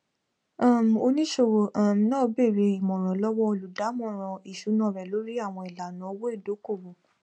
um oníṣòwò um náà bèèrè ìmọràn lọwọ olùdámọràn ìṣúná rẹ lórí àwọn ilana owó ìdókòwò